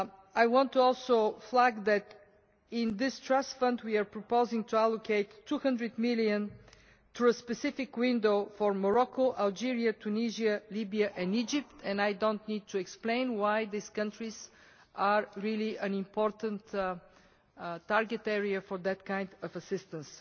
I want also to flag up that in this trust fund we are proposing to allocate EUR 200 million to a specific window for Morocco, Algeria, Tunisia, Libya and Egypt. I do not need to explain why these countries are such an important target area for that kind of assistance.